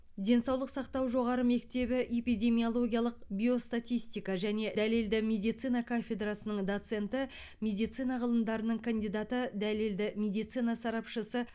денсаулық сақтау жоғары мектебі эпидемиологиялық биостатистика және дәлелді медицина кафедрасының доценті медицина ғылымдарының кандидаты дәлелді медицина сарапшысы